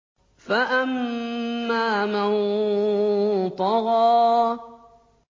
فَأَمَّا مَن طَغَىٰ